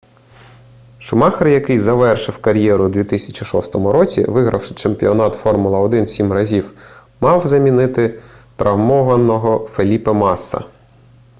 шумахер який завершив кар'єру у 2006 році вигравши чемпіонат формула-1 сім разів мав замінити травмованого феліпе масса